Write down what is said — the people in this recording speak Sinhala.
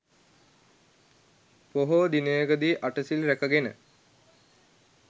පොහෝ දිනයකදී අටසිල් රැකගෙන